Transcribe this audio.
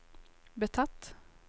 betatt